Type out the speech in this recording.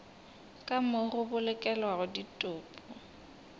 ka moo go bolokelwago ditopo